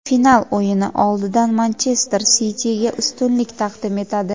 final o‘yini oldidan "Manchester Siti"ga ustunlik taqdim etadi.